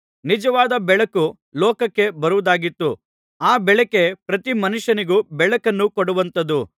ನಿಜವಾದ ಬೆಳಕು ಲೋಕಕ್ಕೆ ಬರುವುದಾಗಿತ್ತು ಆ ಬೆಳಕೇ ಪ್ರತಿ ಮನುಷ್ಯನಿಗೂ ಬೆಳಕನ್ನು ಕೊಡುವಂಥದು